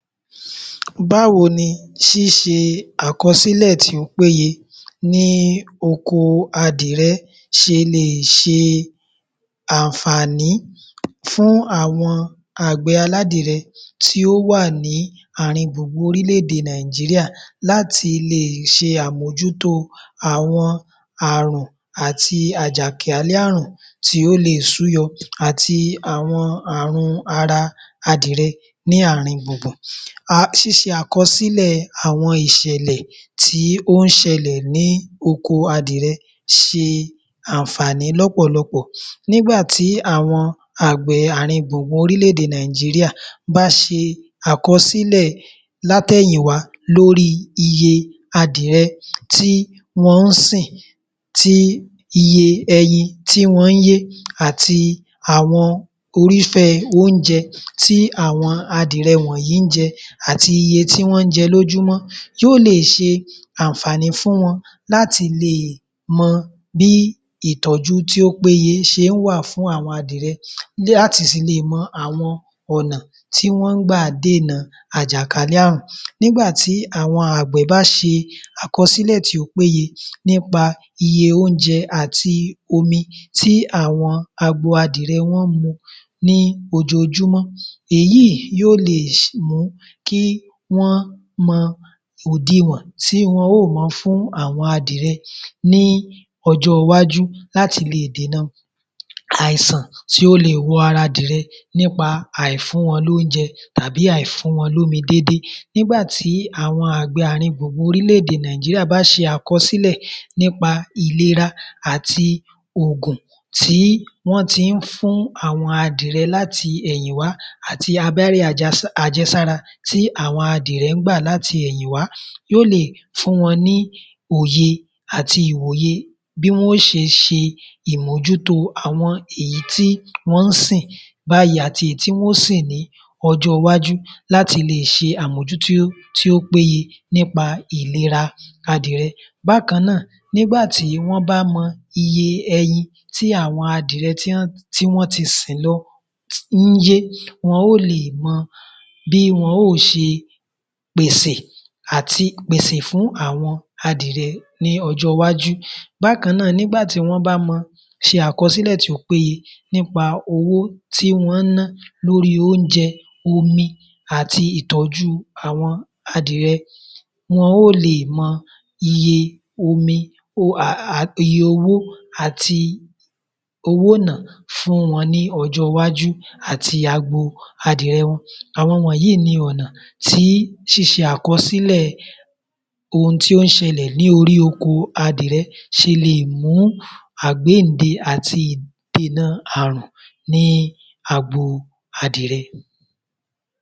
Báwo ni ṣíṣe àkọsílẹ̀ tí ó péye ní oko adìyẹ ṣe le è ṣe ànfàní fún àwọn àgbẹ̀ aládìyẹ tí ó wà ní àrin gbùngbùn orílẹ̀-èdè Nàìjíríà láti lè ṣe àmójútó àwọn àrùn àwọn àjàkálẹ̀ àrùn tí ó le è súyọ àti àwọn àrùn ara adìyẹ ní àrin gbùngbùn. Ṣíṣe àkọsílẹ̀ àwọn ìṣẹ̀lẹ̀ tí ó ń ṣẹ̀lẹ̀ ní oko adìyẹ ṣe ànfàní lọ́pọ̀lọpọ̀ nígba tí àwọn àgbẹ̀ àrin gbùngbùn orílẹ̀-èdè Nàìjíríà bá ṣe àkọsílẹ̀ látẹ̀yìn wá lóri iye adìyẹ tí wọn ń sìn, iye ẹyin tí wọ́n ń yé àti àwọn irúfẹ́ oúnjẹ ti àwọn adìyẹ wọ̀nyí ń jẹ àti iye tí wọ́n jẹ lójúmọ́ yóò le è ṣe ànfàní fún wọn láti lè mọ bí ìtọ́ju tí ó péye ṣe ń wà fún àwọn adìyẹ láti sì le è mọ̀ àwọn ọ̀nà tí wọ́n ń gbà dènà àjàkálẹ̀ àrùn. Nígbà tí àwọn àgbẹ̀ bá ṣe àkọsílẹ̀ tí ó péye nípa iye oúnjẹ àti omi tí àwọn agbo adìyẹ wọn ń mu ní ojoojúmọ́, èyí yóò le è mú kí wọ́n mọ òdiwọ̀n tí wọn yóò ma fún àwọn adìyẹ ní ọjọ́ iwájú láti lè dènà àìsàn tí ó le è wọ ara adìyẹ nípa àifún wọn lóunjẹ tàbí àifún wọn lómi dédé. Nígbà tí àwọn àgbẹ̀ àrin gbùngbùn orílẹ̀-èdè Nàìjíríà bá ṣe àkọsílẹ̀ nípá ìlera àti ògùn tí wọ́n ti ń fún àwọn adìyẹ láti ẹ̀yìn wá àti abẹ́rẹ́ àjẹsára tí àwọn adìyẹ ń gbà láti ẹ̀yìn wà, yóò lè fún wọn ní òye àti ìwòye bí wọ́n ó ṣe ṣe ìmójútó àwọn èyí tí wọ́n ń sìn báyìí àti èyí tí wọ́n ń sìn ní ọjọ́ iwájú láti lè ṣe àmójútó tí ó péye nípa ìlera adìyẹ. Bákan náà, nígbà tí wọ́n bá mọ iye ẹyin tí àwọn adìyẹ tí wọ́n ti sìn lọ ń yé, wọn ó le è mọ bí wọn ó ṣe pèsè fún àwọn adìyẹ ní ọjọ́ iwájú. Bákan náà, nígbà tí wọ́n bá ń ṣe àkọsílẹ̀ tí ó péye nípa owó tí wọ́n ń ná lóri oúnjẹ, omi àti ìtọ́jú àwọn adìyẹ, wọn ó le è mọ iye owó àti owó ìná fún wọn ní ọjọ́ iwájú àti agbo adìyẹ wọn. Àwọn wọ̀nyí ni ọ̀nà tí ṣíṣe àkọsílẹ̀ ohun tí ó ń ṣẹlẹ̀ ní orí oko adìyẹ ṣe lè mú àgbéyìnde àti dènà àrùn ní agbo adìyẹ.